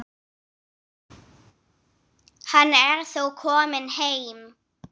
Hann er þó kominn heim.